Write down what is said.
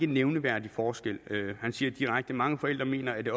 nævneværdig forskel han siger direkte mange forældre mener at